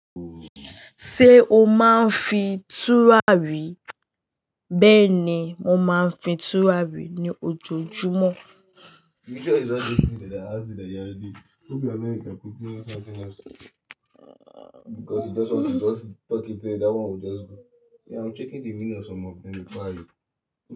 Ṣé o máa ń fi tùrà rí? Bẹ́ẹ̀ ni, mo máa ń fi tùrà rí ní ojoojúmọ́.